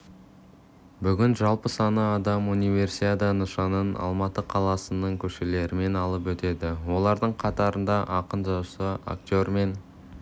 бүгін жалпы саны адам универсиада нышанын алматы қаласының көшелерімен алып өтеді олардың қатарында ақын-жазушы актер мен